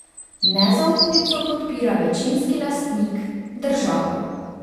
Nezaupnico podpira večinski lastnik, država.